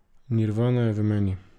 Nirvana je v meni.